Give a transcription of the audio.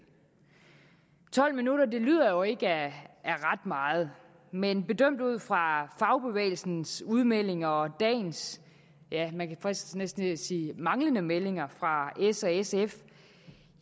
tolv minutter lyder jo ikke af ret meget men bedømt ud fra fagbevægelsens udmeldinger og dagens ja man fristes næsten til at sige manglende meldinger fra s og sf